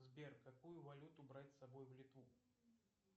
сбер какую валюту брать с собой в литву